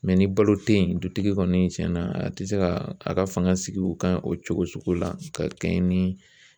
ni balo te yen dutigi kɔni tiɲɛna a tɛ se ka a ka fanga sig'u kan o cogo sugu la ka kɛɲɛ ni